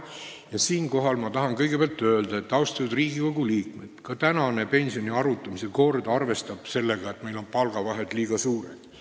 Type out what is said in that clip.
Ja siinkohal ma tahan kõigepealt öelda, et, austatud Riigikogu liikmed, ka praegune pensioni arvutamise kord arvestab sellega, et meil on palgavahed liiga suured.